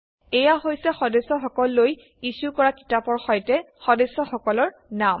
এয়া হৈছে সদস্যসকললৈ ইছ্যু কৰা কিতাপৰ সৈতে সদস্যসকলৰ নাম